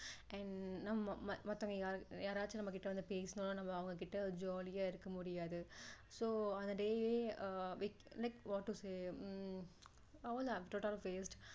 and நம்ம மற்றவங்க யாராவது நம்ம கிட்ட வந்து பேசுனா நம்ம அவங்க கிட்ட jolly யா இருக்க முடியாது so அந்த day ஏ like what to say hmm அவ்ளோதான் total of waste